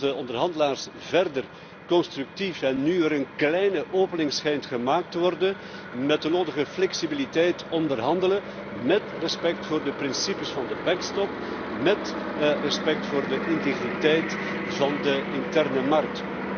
hopen dat onze onderhandelaars verder constructief en nu er een kleine opening gemaakt schijnt te worden met de nodige flexibiliteit onderhandelen, met respect voor de principes van de backstop en met respect voor de integriteit van de interne markt.